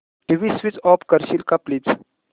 TV switch off करशील का please